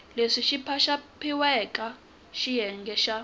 leswi xopaxopiwaka xiyenge xa a